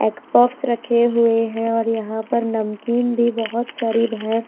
एक बॉक्स रखे हुए हैं और यहां पर नमकीन भी बहोत सारी है।